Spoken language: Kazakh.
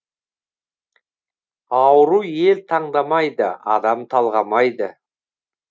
ауру ел таңдамайды адам талғамайды